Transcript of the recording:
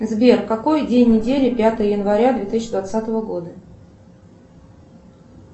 сбер какой день недели пятое января две тысячи двадцатого года